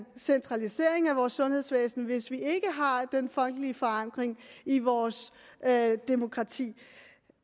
centralisering af vores sundhedsvæsen hvis vi ikke har den folkelige forankring i vores demokrati